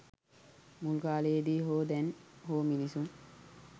මුල් කාලයේ දී හෝ දැන් හෝ මිනිසුන්